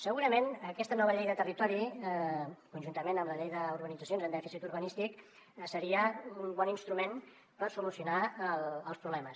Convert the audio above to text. segurament aquesta nova llei de territori conjuntament amb la llei d’urbanitzacions amb dèficit urbanístic seria un bon instrument per solucionar els problemes